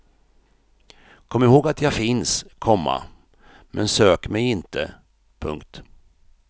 Kom ihåg att jag finns, komma men sök mig inte. punkt